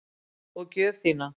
Og gjöf þína.